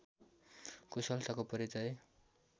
कुशलताको परिचय